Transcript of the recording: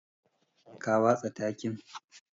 Ka watsa takin.